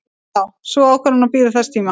Sú ákvörðun bíður þess tíma.